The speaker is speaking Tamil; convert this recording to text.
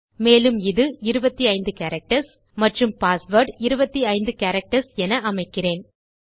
மேலும் இது 25 கேரக்டர்ஸ் மற்றும் பாஸ்வேர்ட் 25 கேரக்டர்ஸ் என அமைக்கிறேன்